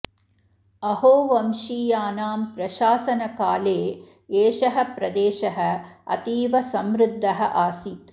अहो वंशीयानां प्रशासनकाले एषः प्रदेशः अतीव समृध्दः आसीत्